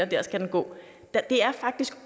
her skal den gå det er faktisk